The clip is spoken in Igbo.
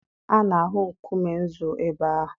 A na-ahụ nkume nzu ebe ahụ.